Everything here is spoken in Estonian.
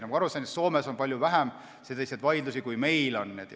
Nagu ma aru saan, on Soomes palju vähem selliseid vaidlusi kui meil.